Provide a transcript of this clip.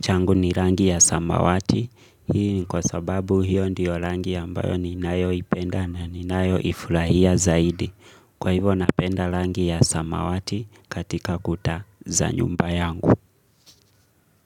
changu ni rangi ya samawati Hii ni kwa sababu hiyo ndiyo rangi ambayo ninayoipenda na ninayoifurahia zaidi Kwa hivyo napenda rangi ya samawati katika kuta za nyumba yangu.